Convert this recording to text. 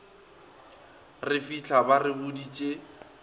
re fitlha ba re boditše